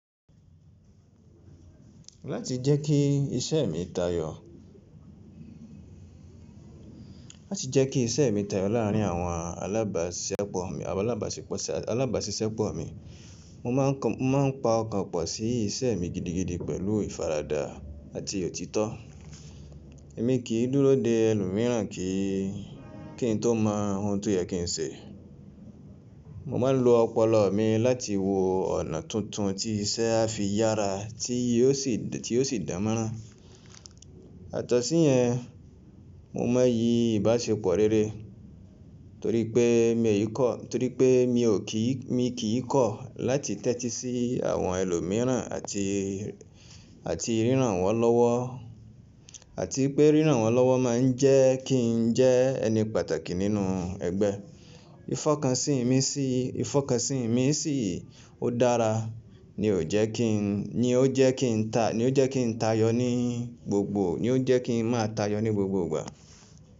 Láti jẹ́ kí iṣẹ́ mi tayọ láàrín àwọn alábàáṣiṣẹ́ pọ̀ mi, mo máa ń pa ọkàn pọ̀ sí iṣẹ́ mi gidigidi pẹ̀lú ìfaradà àti òtítọ́. Èmi kì í dúró de ẹlòmíràn kí n tó mọ ohun tó yẹ kí n ṣe. Mo máa ń lo ọpọlọ mi láti wo ọ̀nà tuntun tí iṣẹ́ a fi yára tí yíò sì dànmọ́nrán. Yatọ̀sí yẹn, mo máa ń yí ìbáṣepọ̀ rere torí pé mi ò kí í kọ̀ láti tẹ́tí sí àwọn ẹlòmíràn àti pé ríranwọ́ lọ́wọ́ máa ń jẹ́ kí n jẹ́ ẹni pàtàkì nínú ẹgbẹ́. Ìfọkànsìn mi sì ó dára ni ó jẹ́ kí n máa tayọ ní gbogbo ìgbà.